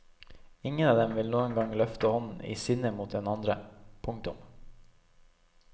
Ingen av dem vil noen gang løfte hånden i sinne mot den andre. punktum